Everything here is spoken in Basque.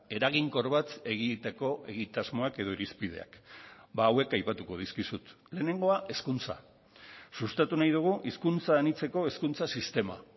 eraginkor bat egiteko egitasmoak edo irizpideak hauek aipatuko dizkizut lehenengoa hezkuntza sustatu nahi dugu hizkuntza anitzeko hezkuntza sistema